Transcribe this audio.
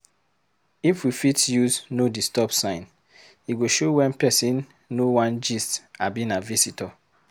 If we fit use “no disturb” sign, e go show wen person no wan gist abi na visitor.